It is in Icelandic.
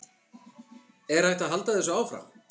Er hægt að halda þessu áfram?